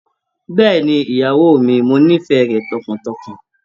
Bẹ́ẹ̀ni ìyàwó mi, mo nífẹ̀ẹ́ rẹ tọkàntọkàn.